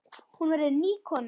Hún verður ný kona.